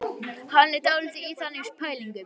Hann er dálítið í þannig pælingum.